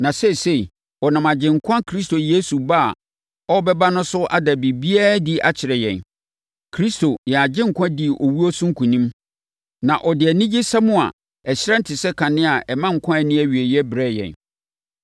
na seesei, ɔnam Agyenkwa Kristo Yesu ba a ɔbɛba no so ada biribiara adi akyerɛ yɛn. Kristo, yɛn Agyenkwa dii owuo so nkonim, na ɔde anigyesɛm a ɛhyerɛn te sɛ kanea na ɛma nkwa a ɛnni awieeɛ brɛɛ yɛn.